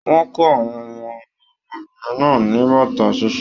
Wọn kọ àwọn wọn ọmọbìnrin náà ní bàtà ṣiṣe.